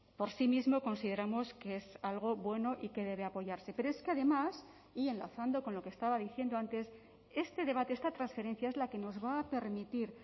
por sí mismo consideramos que es algo bueno y que debe apoyarse pero es que además y enlazando con lo que estaba diciendo antes este debate esta transferencia es la que nos va a permitir